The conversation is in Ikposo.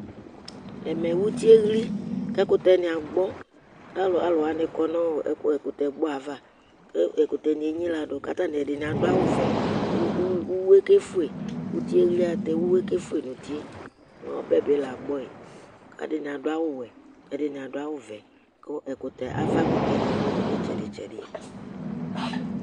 ɛmɛ ʋtiɛ ɛhli kʋ ɛkʋtɛ ni agbɔ kʋ alʋwani kɔnʋ ɛkʋtɛ gbɔɛ aɣa kʋ ɛkʋtɛ ni ɛnyiladʋ kʋ ɛdini adʋ awʋ vɛ kʋ ʋwɛ kɛƒʋɛ, ʋtiɛ ɛhli alʋtɛ ʋwɛ kɛƒʋɛ nʋ ʋtiɛ mʋ ɔbɛ bi la agbɔɛ kʋ ɛdini adʋ awʋ wɛ ɛdini adʋ awʋ vɛ kʋ aɣa kʋtɛ nidʋ itsɛdi tsɛdi